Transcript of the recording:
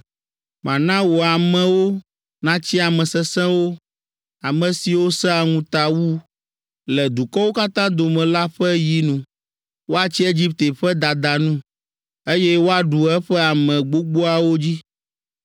Mana wò amewo natsi ame sesẽwo, Ame siwo sẽa ŋuta wu Le dukɔwo katã dome la ƒe yinu. Woatsi Egipte ƒe dada nu, Eye woaɖu eƒe ame gbogboawo dzi.